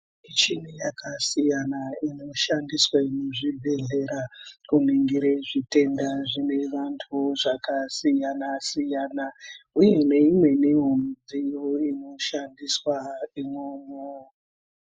Michini yakasiyana inoshandiswe muzvibhedhlera kuningire zvitenda zvine vantu zvakasiyana-siyana uye neimweniwo midziyo inoshandiswa imwomwo.